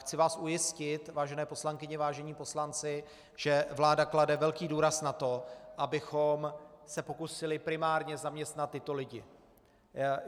Chci vás ujistit, vážené poslankyně, vážení poslanci, že vláda klade velký důraz na to, abychom se pokusili primárně zaměstnat tyto lidi.